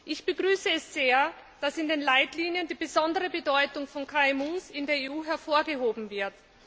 Ich begrüße es sehr, dass in den Leitlinien die besondere Bedeutung von KMU in der EU hervorgehoben wird.